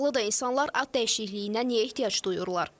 Maraqlıdır, insanlar ad dəyişikliyinə niyə ehtiyac duyurlar?